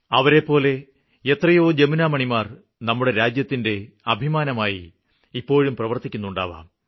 അവരെപ്പോലെ എത്രയോ ജമുനാമണിമാര് നമ്മുടെ രാജ്യത്തിന്റെ അഭിമാനമായി ഇപ്പോഴും പ്രവര്ത്തിക്കുന്നുണ്ടാവാം